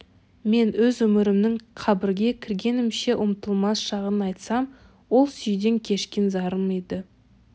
мен өз өмірімнің қабірге кіргенімше ұмытылмас шағын айтсам ол сүюден кешкен зарым еді